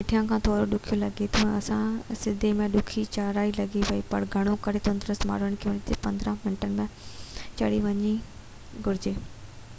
اهو هيٺيان کان ٿورو ڏکيو لڳي ٿو ۽ اها سڌي ۽ ڏکي چڙهايئ لڳي ٿي پر گهڻو ڪري تندرست ماڻهن کي ان تي 45 منٽن ۾ چڙهي وڃڻ گهرجي